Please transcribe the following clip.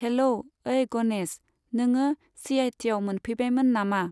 Hello! ओइ गनेश, नोङो सिआइटिआव मोनफैबायमोन नामा?